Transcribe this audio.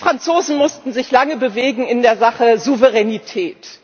Die Franzosen mussten sich lange bewegen in der Sache Souveränität.